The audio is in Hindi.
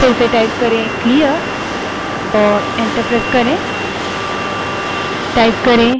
फिर से clear type करें और enter दबायें